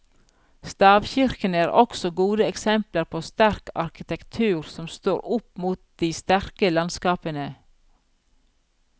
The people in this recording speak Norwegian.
Stavkirkene er også gode eksempler på sterk arkitektur som står opp mot de sterke landskapene.